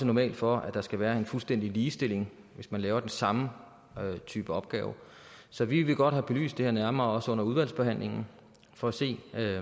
normalt for at der skal være en fuldstændig ligestilling hvis man laver den samme type opgave så vi vil godt have belyst det her nærmere også under udvalgsbehandlingen for at se